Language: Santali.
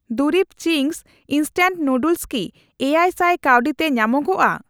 ᱫᱩᱨᱤᱵ ᱪᱤᱝᱥ ᱤᱱᱥᱴᱮᱱᱴ ᱱᱩᱰᱩᱞᱥ ᱠᱤ ᱮᱭᱟᱭ ᱥᱟᱭ ᱠᱟᱹᱣᱰᱤ ᱛᱮ ᱧᱟᱢᱚᱜᱼᱟ ?